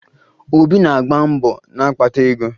Obi na-agba mbọ na-akpata ego